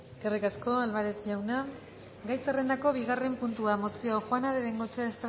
eskerrik asko álvarez jauna gai zerrendako bigarren puntua mozioa juana de bengoechea